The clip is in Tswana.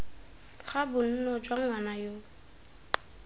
ga bonno jwa ngwana yoo